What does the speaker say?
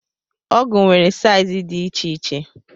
Ọgụ nwere saiz dị iche iche.